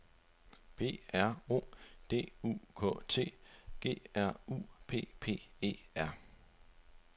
P R O D U K T G R U P P E R